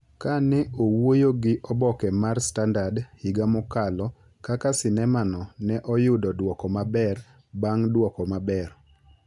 Ka ne owuoyo gi oboke mar Standard higa mokalo kaka sinema no ne oyudo duoko maber bang’ duoko maber,